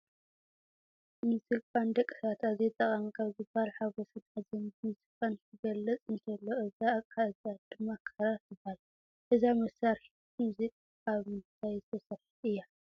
ሙዚቃ ንደቂ ሰባት ኣዝዩ ጠቃሚ ካብ ዝበሃል ሓጎስን ሓዘንን ብሙዚቃ ክንገልፅ እንተሎ እዛ ኣቅሓ እዚኣ ድማ ክራር ትበሃል ። እዛ መሳሪሒት ሙዚቃ ካብ ምንታይ ዝተሰርሐት እያ ?